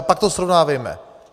A pak to srovnávejme.